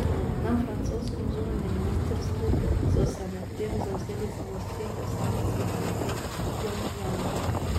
Na francoskem zunanjem ministrstvu so se medtem zavzeli za zaostritev sankcij proti Pjongjangu.